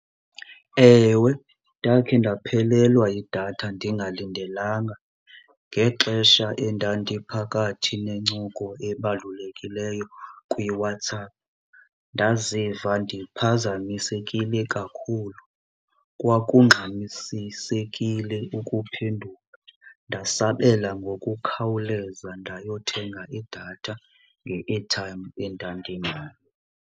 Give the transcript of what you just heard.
Ewe, ndakhe ndaphelelwa yidatha ndingalindelanga ngexesha endandiphakathi nencoko ebalulekileyo kwiWhatsApp. Ndaziva ndiphazamisekile kakhulu, kwakungxamisisekile ukuphendula, ndasabela ngokukhawuleza ndayothenga idatha nge-airtime endandinayo.